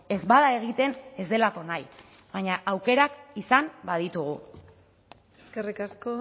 ez bada egiten ez delako nahi baina aukerak izan baditugu eskerrik asko